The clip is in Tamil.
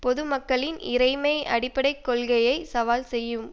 பொதுமக்களின் இறைமை அடிப்படை கொள்கையை சவால் செய்யும்